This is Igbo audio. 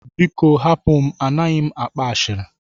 Biko hapụ m, A naghị m akpa ashịrị.